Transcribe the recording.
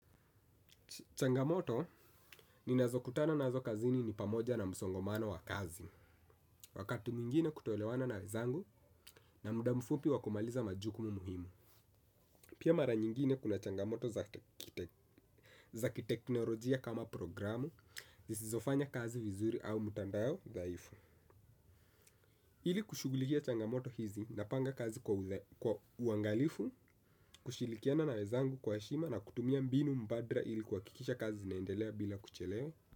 Changamoto, ninazokutana nazo kazini ni pamoja na msongomano wa kazi. Wakati mwingine kutoelewana na wenzangu na muda mfupi wa kumaliza majukumu muhimu. Pia mara nyingine kuna changamoto za kiteknolojia kama programu, zisizofanya kazi vizuri au mtandao dhaifu. Ili kushughulikia changamoto hizi napanga kazi kwa uangalifu, kushirikiana na wenzangu kwa heshima na kutumia mbinu badala ili kuhakikisha kazi zinaendelea bila kuchelewa.